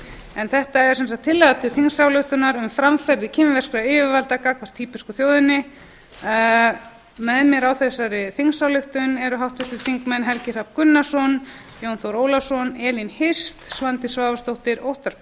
en þetta er sem sagt tillaga til þingsályktunar um framferði kínverskra yfirvalda gagnvart tíbesku þjóðinni með mér á þessari þingsályktun eru háttvirtir þingmenn helgi hrafn gunnarsson jón þór ólafsson elín hirst svandís svavarsdóttir óttarr